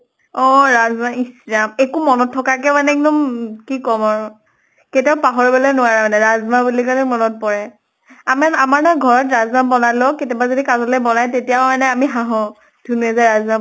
অহ ৰাজ্মা। ইচ ৰাজ্মা একো মনত থকাকে মানে ক্দম কি কʼম আৰু। কাতিয়াও পাহৰিবলে নোৱাৰা মানে, ৰাজ্মা বুলি কʼলে মনত পৰা। আমা আমাৰ নহয় ঘৰত ৰাজ্মা বনালেও কেতিয়াবা যদি কাজলৈ বনায়ে তেতিয়াও মানে আমি হাহো। ধুনুয়ে যে ৰাজ্মা